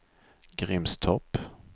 Grimstorp